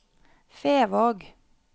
Fevåg